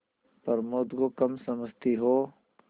प्रमोद को कम समझती हो